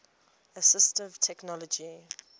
assistive technology